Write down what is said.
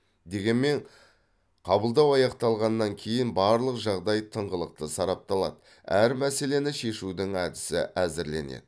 дегенмен қабылдау аяқталғаннан кейін барлық жағдай тыңғылықты сарапталады әр мәселені шешудің әдісі әзірленеді